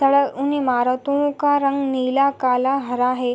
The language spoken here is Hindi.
सारा उन इमारतो का रंग नीला काला हरा है।